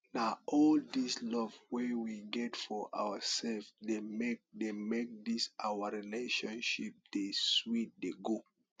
na all dis love wey we get for oursef dey make dey make dis our friendship dey sweet dey go